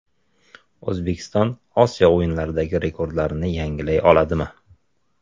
O‘zbekiston Osiyo o‘yinlaridagi rekordlarini yangilay oladimi?.